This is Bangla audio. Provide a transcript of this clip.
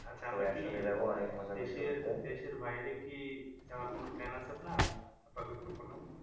দেশের বাইরে কি যাওয়ার কোন plan আছে আপনার আপাতত কোন?